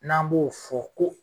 N'an b'o fɔ ko